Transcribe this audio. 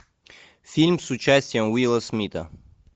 фильм с участием уилла смита